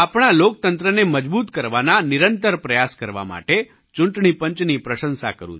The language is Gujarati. હું આપણા લોકતંત્રને મજબૂત કરવાના નિરંતર પ્રયાસ કરવા માટે ચૂંટણી પંચની પ્રશંસા કરું છું